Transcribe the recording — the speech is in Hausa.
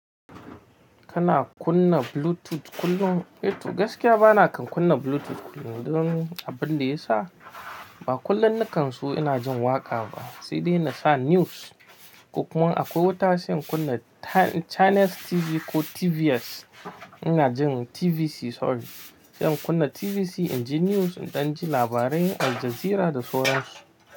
Kana kunna Bluetooth kullum? Eto gaskiya bana kan kunna Bluetooth kullum. Don abin da ya sa ba kullum nikan su ina jin waƙa ba, sai dai na sa news. Ko kuma akwai wata sai in kunna Channels TV ko TVS, ina jin TVC sorry, sai in kunna TVC inji news, in ɗan ji labarai Al Jazeera da sauran su.